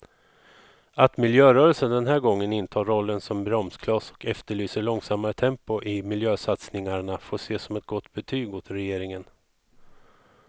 Att miljörörelsen den här gången intar rollen som bromskloss och efterlyser långsammare tempo i miljösatsningarna får ses som ett gott betyg åt regeringen.